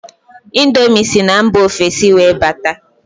índomi sí na mba ofesi wee bata.